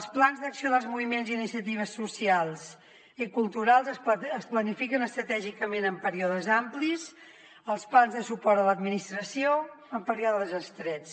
els plans d’acció dels moviments i iniciatives socials i culturals es planifiquen estratègicament en períodes amplis els plans de suport a l’administració en períodes estrets